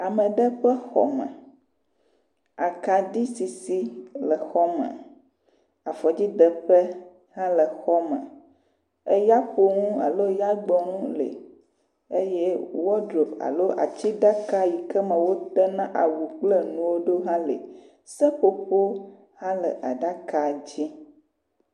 Ame ɖe ƒe xɔ me. Akaɖi sisi le xɔ me. Afɔdzideƒe hã le xɔ me. Eyaƒonu alo yagbɔnu li eye wɔdrobu alo atsiɖaka yi ke me wodena awu kple nuwo ɖo hã li. Seƒoƒo hã le aɖaka dzi.